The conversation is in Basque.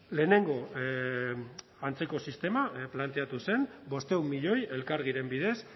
lehenengo antzeko sistema planteatu zen bostehun milioi elkargiren bidez